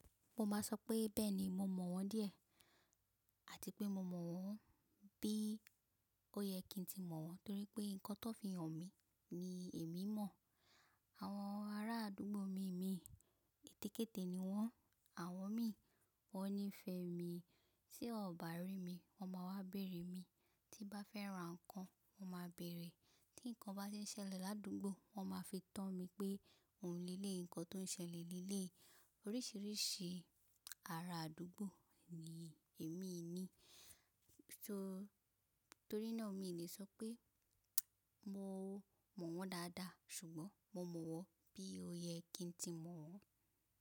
Mo máa sọ pé bẹ́ẹ̀ni mo mọ̀ wọ́n díẹ̀ àti pé mo mọ̀ wọ́n bí ó yẹ kí n tí mọ̀ wọ́n torí pé nǹkan tó fi hàn mí ni èmi mọ̀. Àwọn ará àdúgbò mi mìíràn ètèkète ni wọ́n, àwọn mi wọ́n nífẹ̀ẹ́ mi, tí wọ́n ò bá rí mi wọ́n máa wá bèrè mi, tí bá fẹ́ ra nǹkan wọ́n máa bèrè, tí nǹkan bá ṣe ṣẹlẹ̀ ní àdúgbò wọ́n máa fi tán mi pé òun leleyi nǹkan tó ṣẹlẹ̀ leleyi. Oríṣìíríṣìí ará àdúgbò ni èmi ní, torí náà mi lè sọ pé mo mọ̀ wọ́n dáadáa ṣùgbọ́n mo mọ̀ wọ́n bí ó yẹ kí n tí mọ̀ wọ́n.